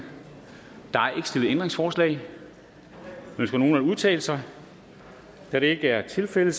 stillet ændringsforslag ønsker nogen at udtale sig da det ikke er tilfældet